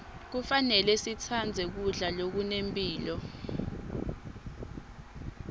kufanele sitsandze kudla lokunemphilo